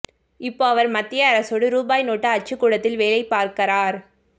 இப்போ அவர் மத்திய அரசோட ரூபாய் நோட்டு அச்சுக்கூடத்தில் வேலை பார்க்கறார்